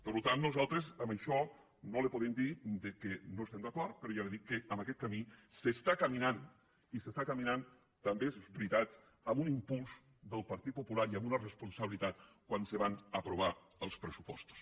per tant nosaltres en ai·xò no li podem dir que no hi estem d’acord però ja li dic que en aquest camí s’està caminant i s’hi està caminant també és veritat amb un impuls del partit popular i amb una responsabilitat quan se van apro·var els pressupostos